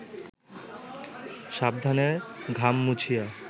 সাবধানে ঘাম মুছিয়া